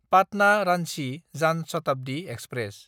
पाटना–रान्चि जान शताब्दि एक्सप्रेस